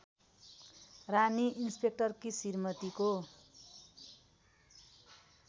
रानी इन्सपेक्टरकी श्रीमतीको